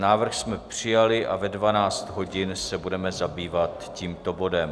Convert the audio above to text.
Návrh jsme přijali a ve 12 hodin se budeme zabývat tímto bodem.